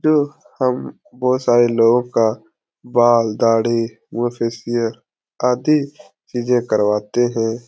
जो हम बहोत सारे लोगों का बाल दाढ़ी मुह में फेसियल आदि "चीज़े करवाते हैं।